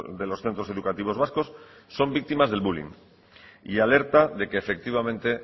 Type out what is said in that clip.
de los centros educativos vascos son víctimas del bullying y alerta de que efectivamente